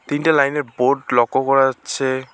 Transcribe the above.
তিনটে লাইন -এর বোর্ড লক্ষ করা যাচ্ছে।